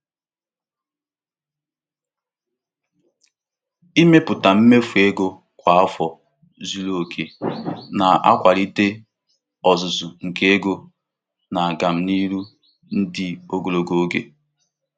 Ịmepụta usoro nsonye mmefu ego kwa ụbọchị na-enyere aka hụ na mkpebi mmefu ego n'adịgide.